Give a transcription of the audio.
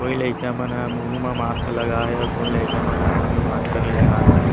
कोई लइका मन हा मुँह म मास्क लगाए हे कोई लइका मन हा मुँह में मास्क नही लगाए हे।